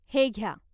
हे घ्या!